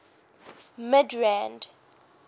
midrand